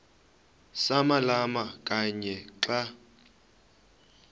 samalama kanye xa